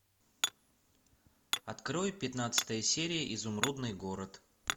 открой пятнадцатая серия изумрудный город